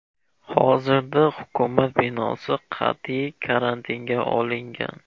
Hozirda hukumat binosi qat’iy karantinga olingan.